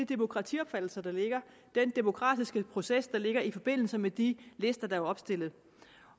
demokratiopfattelse den demokratiske proces der ligger i forbindelse med de lister der er opstillet